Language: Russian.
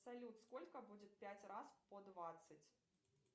салют сколько будет пять раз по двадцать